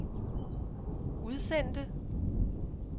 udsendte